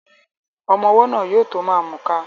Ọmọ́ ọwọ́ náà yóò tó ma mùka